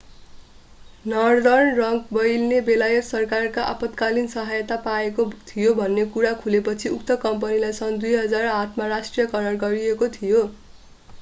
Northern Rock बैंकले बेलायत सरकारबाट आपतकालिन सहायता पाएको थियो भन्ने कुरा खुलेपछि उक्त कम्पनीलाई सन् 2008 मा राष्ट्रियकरण गरिएको थियो